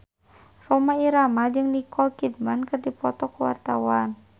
Rhoma Irama jeung Nicole Kidman keur dipoto ku wartawan